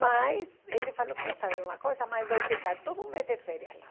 Mas ele falou que sabe de uma coisa, mas vou ficar todo mês de férias lá.